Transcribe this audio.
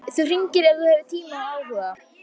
Þú hringir ef þú hefur tíma og áhuga.